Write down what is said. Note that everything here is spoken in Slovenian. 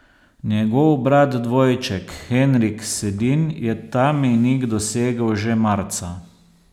Njegov brat dvojček Henrik Sedin je ta mejnik dosegel že marca.